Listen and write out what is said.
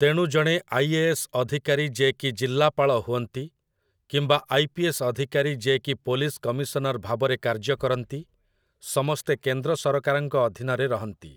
ତେଣୁ ଜଣେ ଆଇ.ଏ.ଏସ୍. ଅଧିକାରୀ ଯେ କି ଜିଲ୍ଲାପାଳ ହୁଅନ୍ତି, କିମ୍ବା ଆଇ.ପି.ଏସ୍. ଅଧିକାରୀ ଯେ କି ପୋଲିସ୍ କମିଶନର୍ ଭାବରେ କାର୍ଯ୍ୟକରନ୍ତି, ସମସ୍ତେ କେନ୍ଦ୍ରସରକାରଙ୍କ ଅଧୀନରେ ରହନ୍ତି ।